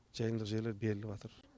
жайылымдық жерлер беріліватыр